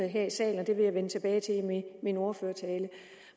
her i salen og det vil jeg vende tilbage til i min ordførertale